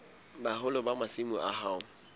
boholo ba masimo a hao